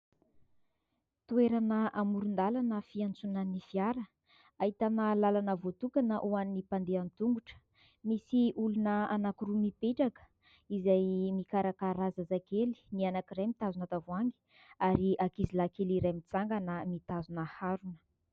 Toerana amoron-dàlana fiantsonan'ny fiara. Ahitana làlana voatokana ho an'ny mpandeha an-tongotra. Misy olona anankiroa mipetraka izay mikarakara zazakely, ny anankiray mitazona tavoahangy, ary ankizilahy kely iray mitsangana mitazona harona.